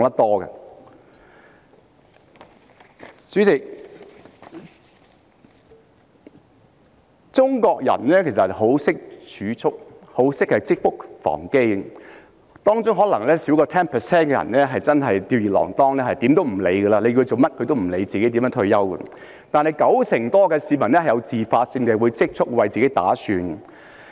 代理主席，中國人其實十分懂得儲蓄，也十分懂得積穀防飢，當中可能少於 10% 的人真的是吊兒郎當，即使叫他們做甚麼準備退休，他們也不會理會；但九成多的市民會自發性地儲蓄，為自己打算。